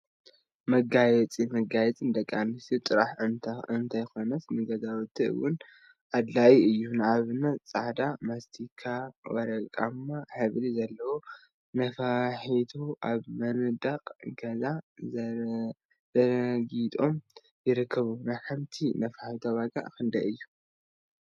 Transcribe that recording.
መጋየፂ መጋየፂ ንደቂ አንስትዮ ጥራሕ እንተይኮነስ ንገዛውቲ እውን አድላይ እዩ፡፡ ንአብነት ፃዕዳ፣ ማስቲካን ወርቃማ ሕብሪ ዘለዎም ነፋሒቶታት አብ መንድቅ ገዛ ተዘርጊሖም ይርከቡ፡፡ ናይ ሓንቲ ነፋሒቶ ዋጋ ክንደይ እዩ?